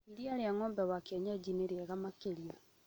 Iria rĩa ng'ombe wa kĩenyeji nĩ rĩega makĩria